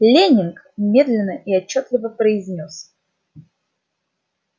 лэннинг медленно и отчётливо произнёс